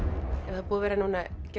það er búið að vera núna